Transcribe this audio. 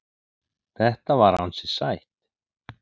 Þetta var ansi sætt.